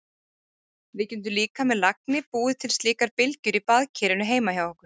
Við getum líka með lagni búið til slíkar bylgjur í baðkerinu heima hjá okkur.